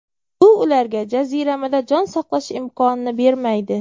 Bu ularga jaziramada jon saqlash imkonini bermaydi.